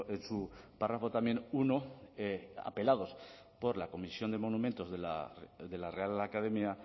en su párrafo también uno apelados por la comisión de monumentos de la real academia